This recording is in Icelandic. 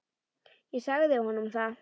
Ég sagði honum það!